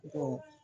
Ko